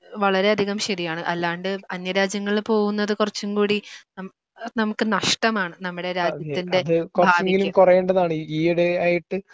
വളരെയധികം ശരിയാണ് അല്ലാണ്ട് അന്യരാജ്യങ്ങളിൽ പോകുന്നത് കുറച്ചുകൂടി നമുക്ക് നഷ്ടമാണ്. നമ്മുടെ രാജ്യത്തിൻറെ ഭാവിക്ക്.